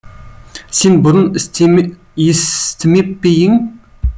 сен бұрын естімеп пе ең